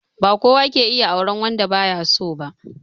Ba kowa ke iya auren wanda ba ya so ba